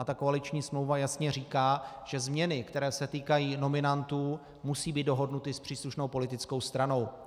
A ta koaliční smlouva jasně říká, že změny, které se týkají nominantů, musí být dohodnuty s příslušnou politickou stranou.